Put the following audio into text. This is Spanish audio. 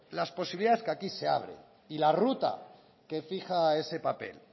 las posibilidades que aquí se abren y la ruta que fija ese papel